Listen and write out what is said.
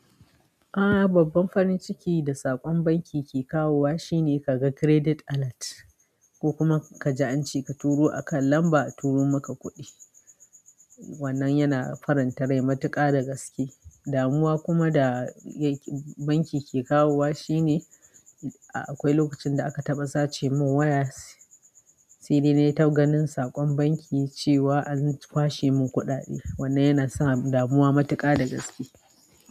A'a babban farin ciki da saƙon banki ke kawowa shine ka ga credit alert ko kuma ka ji an ce ka turo akan lamba, a turo maka kuɗi. Wannan yana faranta rai matuƙa da gaske. Damuwa kuma da banki ke kawowa shine akwai lokacin da aka taɓa sace mun waya, sai dai nai ta ganin saƙon banki cewa an kwashe mun kuɗaɗe. Wannan yana sa damuwa matuƙa da gaske.